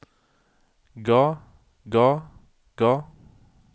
ga ga ga